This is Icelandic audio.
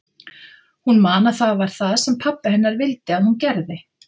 Hún man að það var það sem pabbi hennar vildi að hún gerði.